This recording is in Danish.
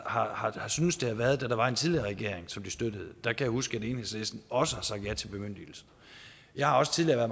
har syntes det har været da der var en tidligere regering som de støttede da kan jeg huske at enhedslisten også har sagt ja til bemyndigelse jeg har også tidligere